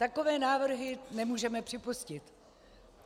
Takové návrhy nemůžeme připustit.